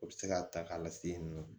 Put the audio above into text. O bɛ se k'a ta k'a lase yen nɔ